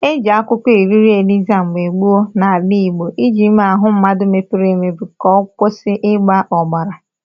E jị akwụkwọ Iriro Eliza mgbe gboo n'ala Igbọ iji mee ahụ mmadụ bepuru ebepu ka ọ kwusị ịgba obara.